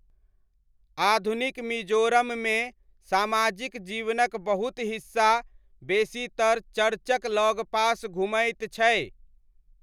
आधुनिक मिजोरममे सामाजिक जीवनक बहुत हिस्सा बेसीतर चर्चक लगपास घुमैत छै।